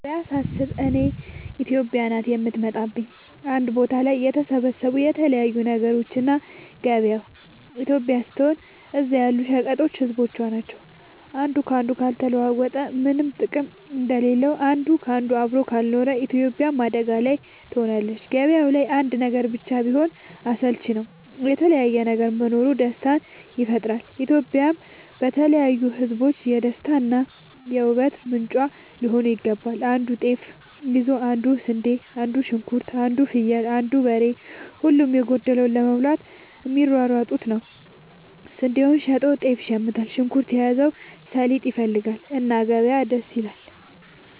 ገበያ ሳስብ እኔ ኢትዮጵያ ናት የምትመጣለኝ አንድ ቦታ ላይ የተሰባሰቡ የተለያዩ ነገሮች እና ገበያው ኢትዮጵያ ስትሆን እዛ ያሉት ሸቀጦች ህዝቦቿ ናቸው። አንዱ ካንዱ ካልተለዋወጠ ምነም ጥቅም እንደሌለው አንድ ካንዱ አብሮ ካልኖረ ኢትዮጵያም አደጋ ላይ ትሆናለች። ገባያው ላይ አንድ ነገር ብቻ ቢሆን አስልቺ ነው የተለያየ ነገር መኖሩ ደስታን ይፈጥራል። ኢትዮጵያም የተለያዩ ህዝቦቿ የደስታ እና የ ውበት ምንጯ ሊሆን ይገባል። አንዱ ጤፍ ይዞ አንዱ ስንዴ አንዱ ሽንኩርት አንዱ ፍየል አንዱ በሬ ሁሉም የጎደለውን ለመሙላት የሚሯሯጡበት ነው። ስንዴውን ሸጦ ጤፍ ይሽምታል። ሽንኩርት የያዘው ሰሊጥ ይፈልጋል። እና ገበያ ደስ ይላል።